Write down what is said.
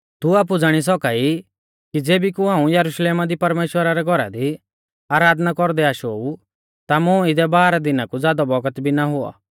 तू आपु ज़ाणी सौका ई कि ज़ेबी कु हाऊं यरुशलेमा दी परमेश्‍वरा रै घौरा दी आराधना कौरदै आशो ऊ ता मुं इदै बाराह दिना कु ज़ादौ बौगत भी ना हुऔ